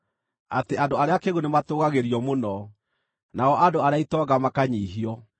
Atĩ andũ arĩa akĩĩgu nĩmatũũgagĩrio mũno, nao andũ arĩa itonga makanyiihio.